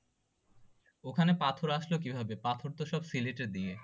ওখানে পাথর আসলো কিভাবে পাথর তো সব